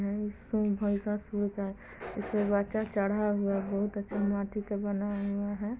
इसपे बच्चा चढ़ा हुआ है। बहुत अच्छा माटी का बना हुआ है |